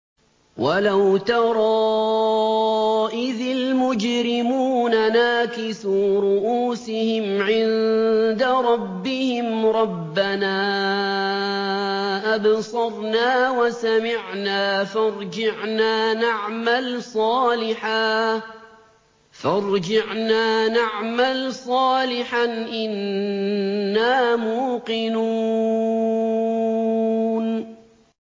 وَلَوْ تَرَىٰ إِذِ الْمُجْرِمُونَ نَاكِسُو رُءُوسِهِمْ عِندَ رَبِّهِمْ رَبَّنَا أَبْصَرْنَا وَسَمِعْنَا فَارْجِعْنَا نَعْمَلْ صَالِحًا إِنَّا مُوقِنُونَ